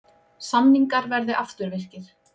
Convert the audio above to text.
Samningar verði afturvirkir